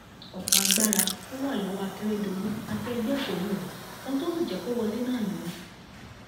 ọpọ agbára ló wà lọwọ akérédọlù àti ẹgbẹ òṣèlú rẹ ohun tó sì jẹ kó wọlé náà nìyẹn